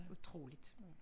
Utroligt